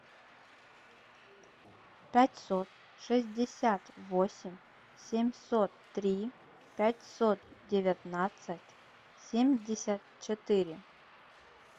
пятьсот шестьдесят восемь семьсот три пятьсот девятнадцать семьдесят четыре